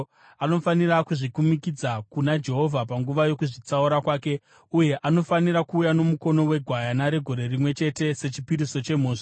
Anofanira kuzvikumikidza kuna Jehovha panguva yokuzvitsaura kwake uye anofanira kuuya nomukono wegwayana regore rimwe chete sechipiriso chemhosva.